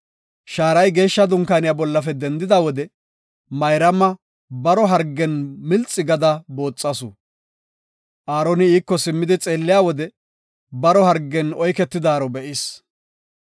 Shaaray Geeshsha Dunkaaniya bollafe dendida wode Mayraama baro hargen milxi gada booxasu. Aaroni iiko simmidi xeelliya wode baro hargen oyketidaaro be7is.